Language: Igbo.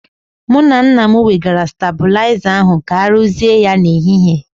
Mụ na nna m wegara stabụlaiza ahu ka aruzie ya n'ehihie.